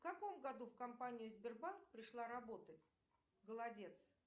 в каком году в компанию сбербанк пришла работать голодец